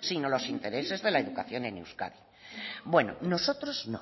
sino los intereses de la educación en euskadi bueno nosotros no